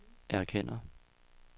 erkender